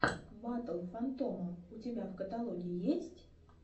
батл фантома у тебя в каталоге есть